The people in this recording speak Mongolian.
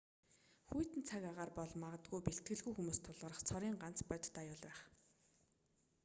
хүйтэн цаг агаар бол магадгүй бэлтгэлгүй хүмүүст тулгарах цорын ганц бодит аюул байх